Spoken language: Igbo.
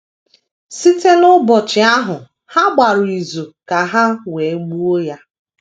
“ Site n’ụbọchị ahụ ha gbara izu ka ha wee gbuo Ya. ”